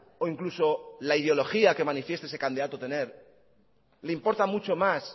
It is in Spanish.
o incluso la ideología que manifieste ese candidato tener le importa mucho más